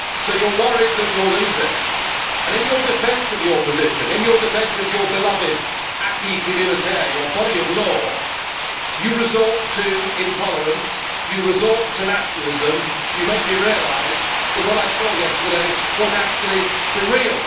So you are worried that you are losing and, in your defence of your position, in your defence of your beloved acquis communautaire, your body of law, you resort to intolerance, you resort to nationalism, you make me realise that what I saw yesterday was actually for real.